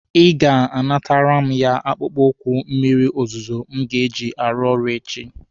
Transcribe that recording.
Ị ga-anatara m ya akpụkpọ ụkwụ mmịrị ozuzu m ga-eji arụ ọrụ echi